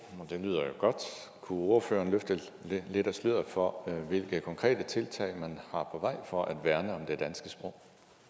og det lyder jo godt kunne ordføreren løfte lidt af sløret for hvilke konkrete tiltag man har på vej for at værne om det danske sprog